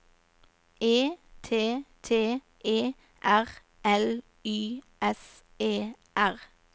E T T E R L Y S E R